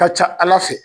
Ka ca ala fɛ